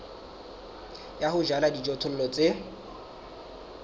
ya ho jala dijothollo tse